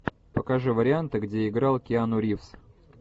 покажи варианты где играл киану ривз